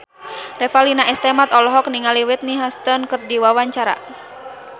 Revalina S. Temat olohok ningali Whitney Houston keur diwawancara